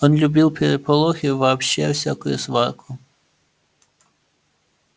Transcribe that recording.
он любил переполох и вообще всякую сварку